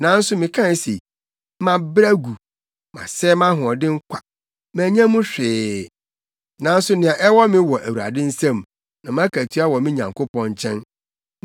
Nanso mekae se, “Mabrɛ agu masɛe mʼahoɔden kwa, mannya mu hwee nanso nea ɛwɔ me wɔ Awurade nsam na mʼakatua wɔ me Nyankopɔn nkyɛn.”